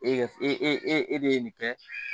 E e e e e de ye nin kɛ